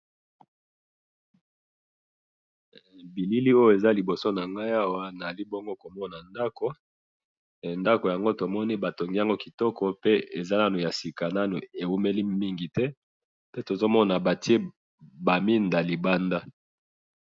bilili oyo eza liboso nangayi awa nazali komona ndaku yango batongi yango kitoko pe eza nanu ya sika ewumeli nanu te pe tozakikomona batiye ba mwinda libanda.